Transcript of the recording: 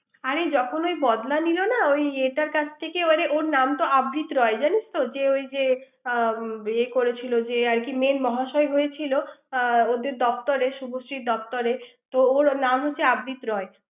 আরে যখন এই বদলা নিলোনা ওই এটার কাছ থেকে মানে ওর নাম তো আবৃত রয় জানিস তো ওই যে আ করেছিল যে মেন মহাশয় হয়েছিল ওদের দপ্তরে শুভশ্রীর দপ্তরে তো ওর নাম হয়েছে আবৃত রয়